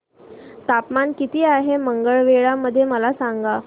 तापमान किती आहे मंगळवेढा मध्ये मला सांगा